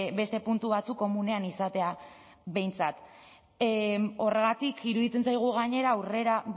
beste puntu batzuk komunean izatea behintzat horregatik iruditzen zaigu gainera aurrera